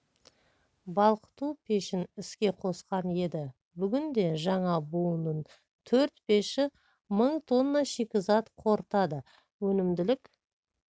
балқыту пешін іске қосқан еді бүгінде жаңа буынның төрт пеші мың тонна шикізат қорытады өнімділік